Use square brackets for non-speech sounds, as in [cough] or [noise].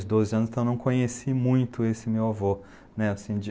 [unintelligible] doze anos, então eu não conheci muito esse meu avô, né, assim, de